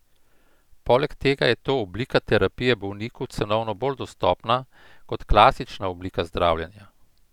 Poleg tega je ta oblika terapije bolniku cenovno bolj dostopna kot klasična oblika zdravljenja.